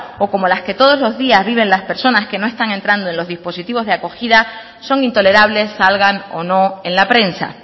o como las que todos los días viven las personas que no están entrando en los dispositivos de acogida son intolerables salgan o no en la prensa